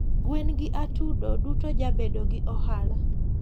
gwen gi atudo duto jabedo gi ohala